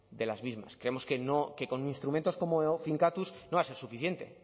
de las mismas creemos que no que con instrumentos como finkatuz no va a ser suficiente